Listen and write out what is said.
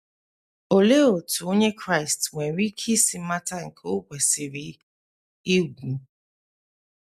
Olee otú Onye Kraịst nwere ike isi mata nke o kwesịrị igwu?